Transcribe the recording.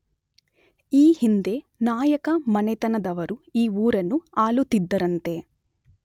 ಈ ಹಿಂದೆ ನಾಯಕ ಮನೆತನದವರು ಈ ಊರನ್ನು ಆಳುತ್ತಿದ್ದರಂತೆ.